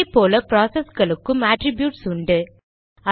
அதே போல ப்ராசஸ்களுக்கும் அட்ரிப்யூட்ஸ் உண்டு